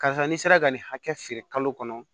Karisa ni sera ka nin hakɛ feere kalo kɔnɔ